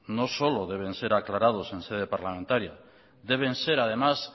no solo deben ser aclarados en sede parlamentaria deben ser además